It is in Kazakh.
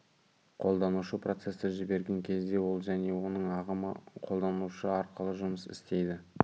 қолданушы процесті жіберген кезде ол және оның ағымы қолданушы арқылы жұмыс істейді